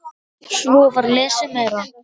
Svo var lesið meira.